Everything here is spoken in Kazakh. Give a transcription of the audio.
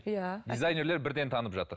иә дизайнерлер бірден танып жатыр